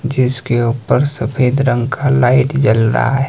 जिसके ऊपर सफेद रंग का लाइट जल रहा है।